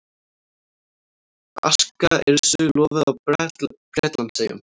Aska Yrsu lofuð á Bretlandseyjum